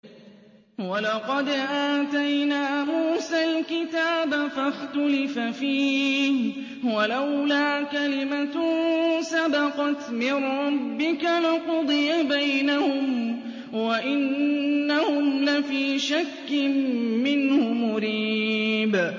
وَلَقَدْ آتَيْنَا مُوسَى الْكِتَابَ فَاخْتُلِفَ فِيهِ ۗ وَلَوْلَا كَلِمَةٌ سَبَقَتْ مِن رَّبِّكَ لَقُضِيَ بَيْنَهُمْ ۚ وَإِنَّهُمْ لَفِي شَكٍّ مِّنْهُ مُرِيبٍ